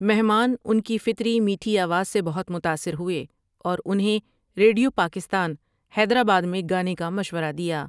مہمان ان کی فطری میٹھی آواز سے بہت متاثر ہوئے اور انہیں ریڈیو پاکستان حیدرآباد میں گانے کا مشورہ دیا ۔